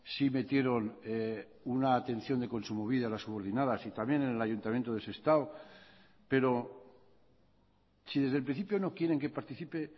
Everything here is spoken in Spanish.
sí metieron una atención de kontsumobide a las subordinadas y también en el ayuntamiento de sestao pero si desde el principio no quieren que participe